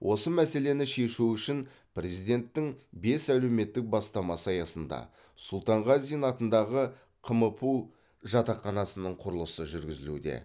осы мәселені шешу үшін президенттің бес әлеуметтік бастамасы аясында сұлтанғазин атындағы қмпу жатақханасының құрылысы жүргізілуде